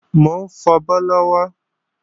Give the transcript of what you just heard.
Mò ń fabọ́ lọ́wọ́